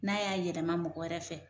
N'a y'a yɛlɛma mɔgɔ wɛrɛ fɛ